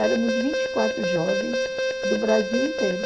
Éramos vinte e quatro jovens do Brasil inteiro.